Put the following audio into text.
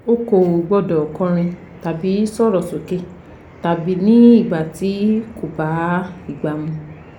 O kò gbọ́dọ̀ kọrin tàbí sọ̀rọ̀ sókè tàbí ní ìgbà tí kò bá ìgbà mu